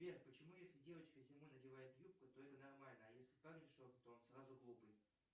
сбер почему если девочка зимой надевает юбку то это нормально а если парень шорты то он сразу глупый